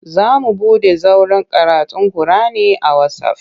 Za mu buɗe zauren karatun kur'ani a wasaf.